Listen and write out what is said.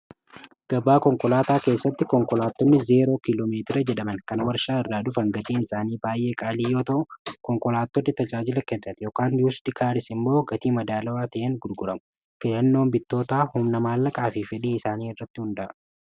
gabaa konkolaataa keessatti konkolaattoonni 0eeroo kiiloo meetira jedhaman kana warshaa irraa dhufan gatiin isaanii baay'ee qaalii yoo ta'u konkolaatotni tajaajila kenna yookaan biusdi kaaris immoo gatii madaalawaa ta'een gurguramu fidannoon bittoota humna maalaqaa fi fedhii isaanii irratti hunda'a.